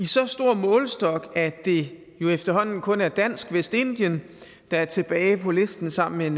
så stor målestok at det jo efterhånden kun er dansk vestindien der er tilbage på listen sammen med en